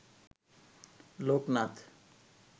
Loknath